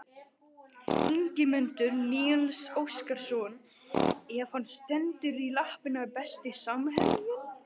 Ingimundur Níels Óskarsson ef hann stendur í lappirnar Besti samherjinn?